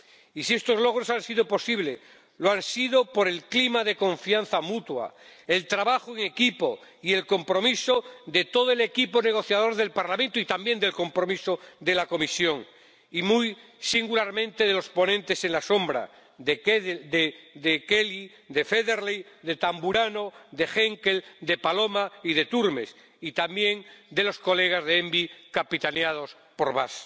Y si estos logros han sido posibles, ha sido por el clima de confianza mutua, el trabajo en equipo y el compromiso de todo el equipo negociador del Parlamento y también el compromiso de la Comisión y, muy singularmente, de los ponentes alternativos ―de Kelly, de Federley, de Tamburrano, de Henkel, de Paloma y de Turmes― y también de los colegas de la Comisión de Medio Ambiente, capitaneados por Bas.